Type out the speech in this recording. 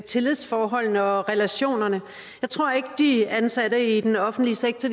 tillidsforholdene og relationerne jeg tror ikke at de ansatte i den offentlige sektor